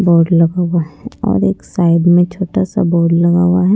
Board लगा हुआ है और एक साइड में छोटा सा बोर्ड लगा हुआ है।